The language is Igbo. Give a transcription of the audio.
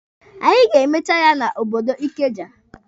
Anyị ga-emecha ya na obodo Ikeja.